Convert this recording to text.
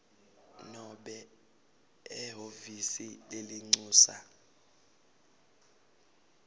nobe ehhovisi lelincusa